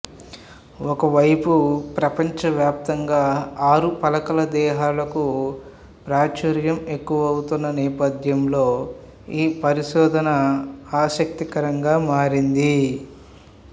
ఒకవైపు ప్రపంచవ్యాప్తంగా ఆరు పలకల దేహాలకు ప్రాచుర్యం ఎక్కువవుతున్న నేపథ్యంలో ఈ పరిశోధన ఆసక్తికరంగా మారింది